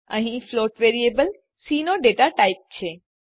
અહીં float variable C નો data type છે